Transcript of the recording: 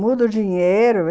Muda o dinheiro.